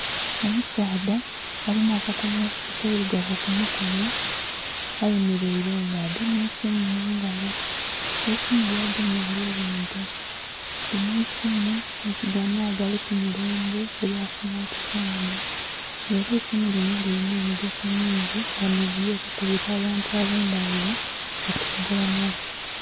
Omusaadha alina akakomo akailugavu ku mukono ayemeleile nga agemye eisimu mu ngalo. Eisimu lyagemye ali linhiga. Linho eisimu nhi kugano agali ku mulembe elya simaati fooni. Nga ela eisimu linho lilina emigaso mingi nga nh'omuli okukubila abantu ab'endhaghulo okwogela nabo.